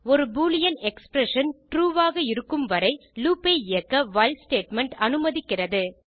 ஒரு Boolean expression true ஆக இருக்கும் வரை லூப் ஐ இயக்க வைல் ஸ்டேட்மெண்ட் அனுமதிக்கிறது